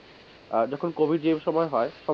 আহ covid সময় হয়,